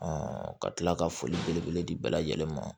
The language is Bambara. ka tila ka foli belebele di bɛɛ lajɛlen ma